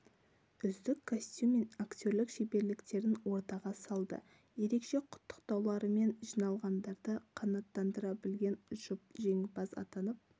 үздік костюм мен актерлік шеберліктерін ортаға салды ерекше құттықтауларымен жиналғандарды қанаттандыра білген жұп жеңімпаз атанып